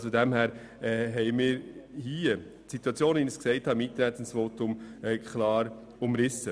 Ich denke, unsere Position ist gut legitimiert und breit abgestützt.